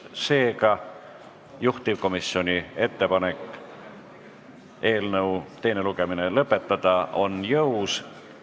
Seega, juhtivkomisjoni ettepanek eelnõu teine lugemine lõpetada on jõus.